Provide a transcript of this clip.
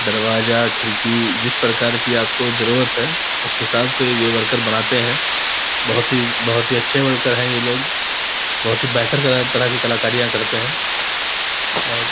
दरवाजा खिड़की जिस प्रकार की आपको जरुरत है। उस हिसाब से ये वर्कर बनाते है बहुत ही-बहुत ही अच्छे वर्कर है ये लोग बहुत ही बेहतर तरह की कलाकारियां करते है। और --